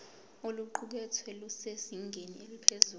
oluqukethwe lusezingeni eliphezulu